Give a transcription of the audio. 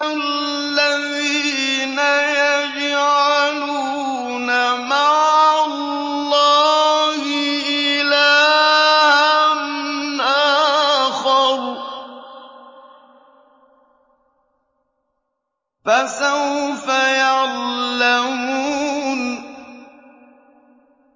الَّذِينَ يَجْعَلُونَ مَعَ اللَّهِ إِلَٰهًا آخَرَ ۚ فَسَوْفَ يَعْلَمُونَ